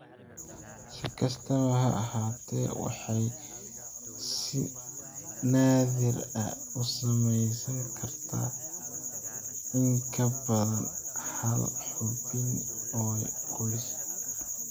Si kastaba ha ahaatee, waxay si naadir ah u saameyn kartaa in ka badan hal xubin oo qoyska ah.